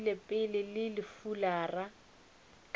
lokile pele le fulara ka